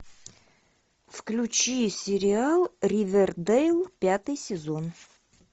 включи сериал ривердейл пятый сезон